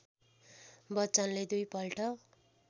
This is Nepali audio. बच्चनले दुईपल्ट